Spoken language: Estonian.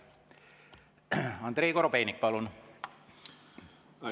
Andrei Korobeinik, palun!